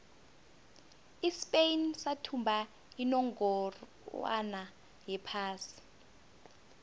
ispain sathumba unongorwond wephasi